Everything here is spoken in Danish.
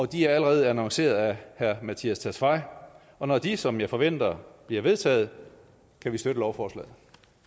de er allerede annonceret af herre mattias tesfaye og når de som jeg forventer bliver vedtaget kan vi støtte lovforslaget